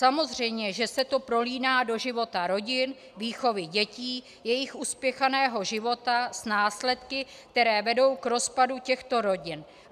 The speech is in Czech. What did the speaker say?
Samozřejmě, že se to prolíná do života rodin, výchovy dětí, jejich uspěchaného života s následky, které vedou k rozpadu těchto rodin.